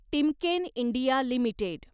Timken India limited